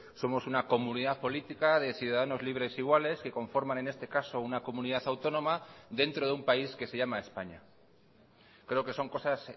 somos una comunidad política de ciudadanos libres iguales que conforman en este caso una comunidad autónoma dentro de un país que se llama españa creo que son cosas